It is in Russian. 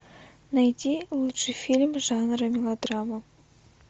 найди лучший фильм жанра мелодрама